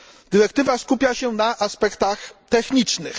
Dyrektywa skupia się na aspektach technicznych.